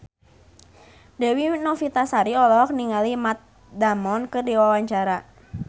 Dewi Novitasari olohok ningali Matt Damon keur diwawancara